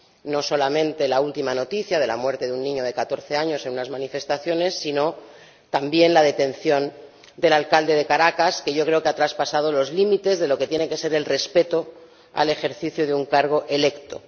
No solamente la última noticia de la muerte de un niño de catorce años en unas manifestaciones, sino también la detención del alcalde de Caracas, que creo que ha traspasado los límites de lo que tiene que ser el respeto al ejercicio de un cargo electo.